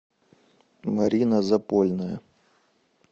марина запольная